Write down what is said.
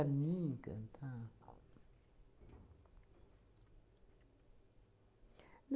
Para mim cantar?